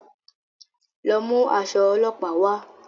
Lọ mú aṣọ olópàá wà